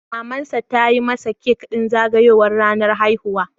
Mamansa ta yi masa kek ɗin zagayowar ranar haihuwa.